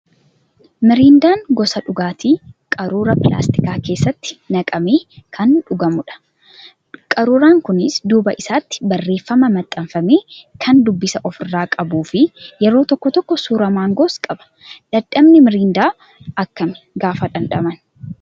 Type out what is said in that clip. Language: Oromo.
Mirindaan gosa dhugaatii quruuraa pilaastikaa keessatti naqamee kan dhugamudha. Qaruuraan kunis duuba isaatti barreeffama maxxanfame ka dubbisa ofirraa qabuu fi yeroo tokko tokko suuraa maangoos qaba. Dhamdhamni mirindaa akkami gaafa dhamdhaman?